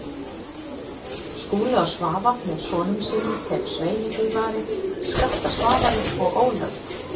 Skúli og Svava með sonum sínum, þeim Sveini Hlífari, Skafta Svavari og Ólafi